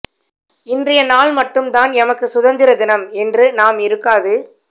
இன்றைய நாள் மட்டும்தான் எமக்கு சுதந்திர தினம் என்று நாம் இருக்காது